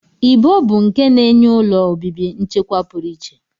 Ibo bụ nke na-enye ụlọ obibi nchekwa pụrụ iche